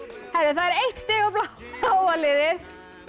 það er eitt stig á bláa liðið